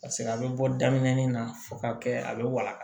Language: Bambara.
Paseke a bɛ bɔ daminɛ nin na fo ka kɛ a bɛ waga